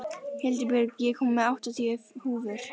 Hildibjörg, ég kom með áttatíu húfur!